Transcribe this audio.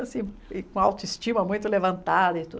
Assim, com a autoestima muito levantada e tudo.